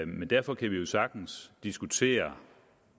men derfor kan vi jo sagtens diskutere